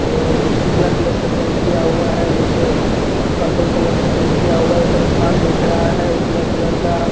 और उजला कलर से पेंट किया हुआ है नीचे पर्पल कलर से पेंट किया हुआ है ऊपर आसमान दिख रहा है उजले कलर का ।